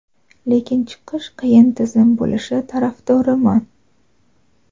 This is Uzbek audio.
lekin chiqish qiyin tizim bo‘lishi tarafdoriman.